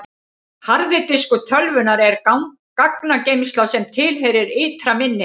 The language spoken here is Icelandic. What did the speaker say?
harði diskur tölvunnar er gagnageymsla sem tilheyrir ytra minni hennar